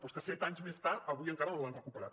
però és que set anys més tard avui encara no l’han recuperat